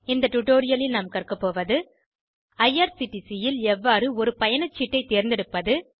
இந்த டுடோரியலில் கற்கப் போவது ஐஆர்சிடிசி ல் எவ்வாறு ஒரு பயணச்சீட்டை தேர்ந்தெடுப்பது